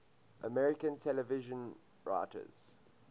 american television writers